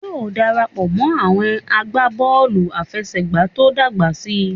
Yóò darapọ̀ mọ́ àwọn agbábọ̀ọ̀lù àfẹsẹ̀gbá tó bá dàgbà síi